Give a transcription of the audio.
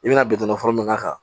I bɛna bitɔn fɔlɔ min k'a kan